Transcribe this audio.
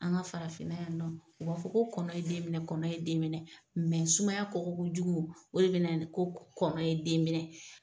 An ka farafinna yan nɔ, u b'a fɔ ko kɔnɔ ye den minɛ kɔnɔ ye den minɛ , mɛ sumaya kɔgɔkojugu o de bɛ na ni ko kɔnɔ ye den minɛ!